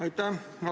Aitäh!